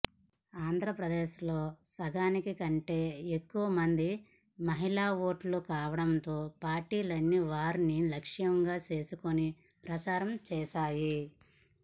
ఆంధ్రప్రదేశ్లో సగాని కంటే ఎక్కువ మంది మహిళా ఓటర్లు కావడంతో పార్టీలన్నీ వారిని లక్ష్యంగా చేసుకుని ప్రచారం చేశాయి